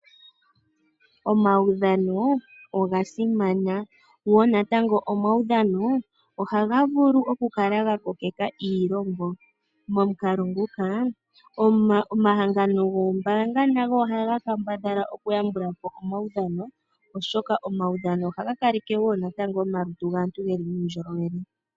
Omaudhano oga simana, go natango omaudhano ohaga vulu oku kala ga kokeka iilongo momukalo nguka omahangano goombaanga nago ohaga kambadhala oku yambula po omaudhano oshoka omaudhano ohaga kaleke wo natango omalutu gaantu geli muundjolowele.